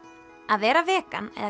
að vera vegan eða